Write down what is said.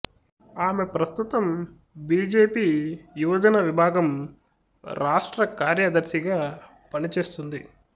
ఆమె ప్రస్తుతం బీజేపీ యువజన విభాగం రాష్ట్ర కార్యదర్శిగా పని చేస్తుంది